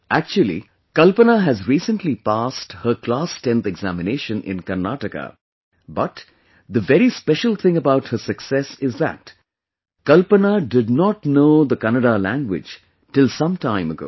Actually, Kalpana has recently passed her class 10th examination in Karnataka, but, the very special thing about her success is that, Kalpana did not know Kannada language till some time ago